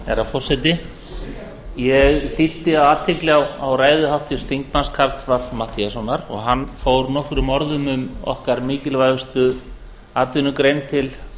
herra forseti ég lýsti athygli á ræðu háttvirts þingmanns karls fimmta matthíassonar og hann fór nokkrum orðum um okkar mikilvægustu atvinnugrein til